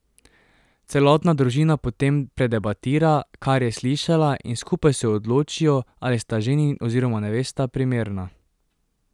Celotna družina potem predebatira, kar je slišala in skupaj se odločijo, ali sta ženin oziroma nevesta primerna.